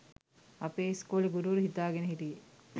අපේ ඉස්කෝලේ ගුරුවරු හිතාගෙන හිටියේ